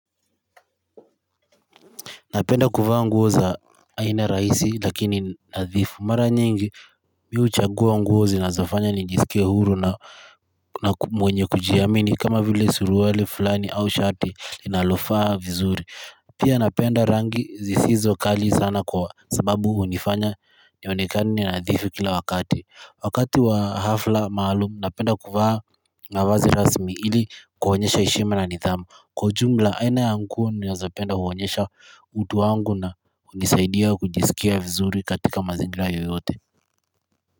Napenda kuvaa nguo za aina raisi lakini nadhifu mara nyingi mi huchagua nguo zinazofanya nijiskie huru na mwenye kujiamini kama vile suruali fulani au shati inalofaa vizuri. Pia napenda rangi zisizokali sana kwa sababu unifanya nionekane nadhifu kila wakati. Wakati wa hafla maalum napenda kuvaa mavazi rasmi ili kuonyesha heshima na nidhamu. Kwa ujumla aina ya nguo ninazopenda huonyesha utu wangu na unisaidia kujiskia vizuri katika mazingira yoyote.